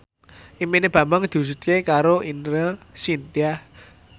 impine Bambang diwujudke karo Ine Shintya